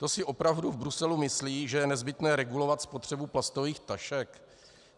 To si opravdu v Bruselu myslí, že je nezbytné regulovat spotřebu plastových tašek?